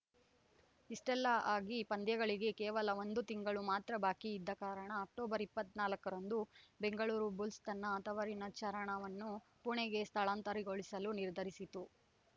ಇಷ್ಟೆಲ್ಲ ಆಗಿ ಪಂದ್ಯಗಳಿಗೆ ಕೇವಲ ಒಂದು ತಿಂಗಳು ಮಾತ್ರ ಬಾಕಿ ಇದ್ದ ಕಾರಣ ಅಕ್ಟೋಬರ್ ಇಪ್ಪತ್ತ್ ನಾಲ್ಕರಂದು ಬೆಂಗಳೂರು ಬುಲ್ಸ್‌ ತನ್ನ ತವರಿನ ಚರಣವನ್ನು ಪುಣೆಗೆ ಸ್ಥಳಾಂತರಗೊಳಿಸಲು ನಿರ್ಧರಿಸಿತು